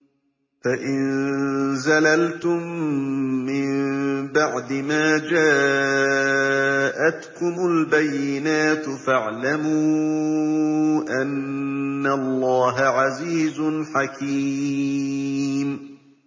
فَإِن زَلَلْتُم مِّن بَعْدِ مَا جَاءَتْكُمُ الْبَيِّنَاتُ فَاعْلَمُوا أَنَّ اللَّهَ عَزِيزٌ حَكِيمٌ